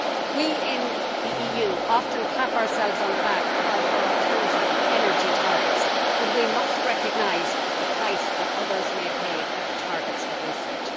We in the EU often clap ourselves on the back about our alternative energy targets, but we must recognise the price that others may pay for the targets that we set.